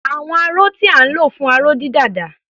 Àwọn aró tí à ń lò fún aró-dídà dà?